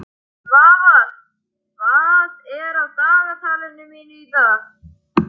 Svafar, hvað er á dagatalinu mínu í dag?